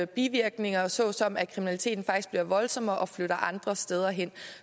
bivirkninger såsom at kriminaliteten faktisk bliver voldsommere og flytter andre steder hen